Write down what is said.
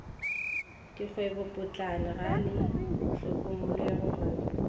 dikgwebopotlana ga le hlokomologwe go